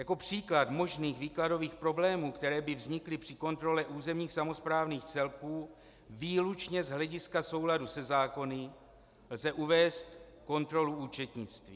Jako příklad možných výkladových problémů, které by vznikly při kontrole územních samosprávných celků výlučně z hlediska souladu se zákony, lze uvést kontrolu účetnictví.